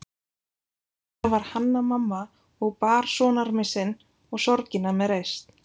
Innandyra var Hanna-Mamma og bar sonarmissinn og sorgina með reisn.